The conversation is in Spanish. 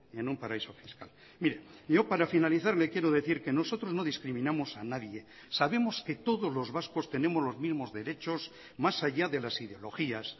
en un paraíso fiscal mire yo para finalizar le quiero decir que nosotros no discriminamos a nadie sabemos que todos los vascos tenemos los mismos derechos más allá de las ideologías